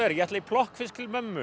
ég ætla í plokkfisk til mömmu